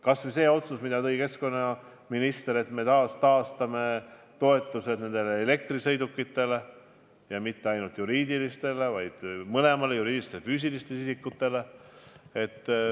Kas või see otsus, millest rääkis keskkonnaminister, et me taastame toetused elektrisõidukite soetamiseks, ja mitte ainult juriidilistele isikutele, vaid mõlemale: juriidilistele ja füüsilistele isikutele.